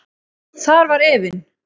Þar var efinn.